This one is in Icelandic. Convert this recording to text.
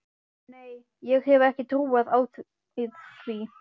Nei, ég hef ekki trú á því.